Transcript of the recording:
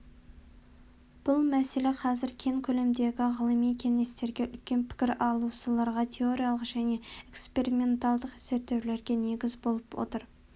бұл мәселе қазір кең көлемдегі ғылыми кеңестерге үлкен пікір алысуларға теориялық және экспериментальдық зерттеулерге негіз болып отыр